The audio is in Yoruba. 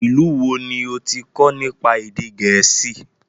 Ìlú wo ni ó ti kọ nípa èdè gẹ̀ẹ́sì?